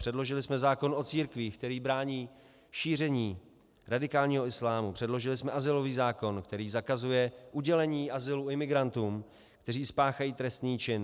Předložili jsme zákon o církvích, který brání šíření radikálního islámu, předložili jsme azylový zákon, který zakazuje udělení azylu imigrantům, kteří spáchají trestný čin.